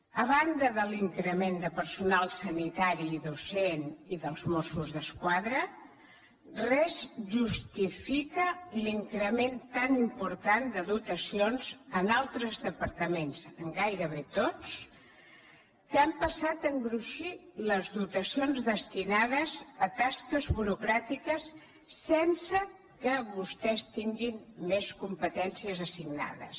a banda de l’increment de personal sanitari i docent i dels mossos d’esquadra res justifica l’increment tan important de dotacions en altres departaments en gairebé tots que han passat a engruixir les dotacions destinades a tasques burocràtiques sense que vostès tinguin més competències assignades